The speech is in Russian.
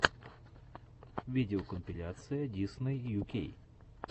видеокомпиляция дисней ю кей